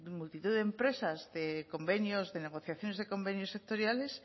multitud de empresas de convenios de negociaciones de convenios sectoriales